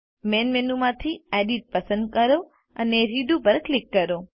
main menu માંથી edit પસંદ કરો અને રેડો પર ક્લિક કરો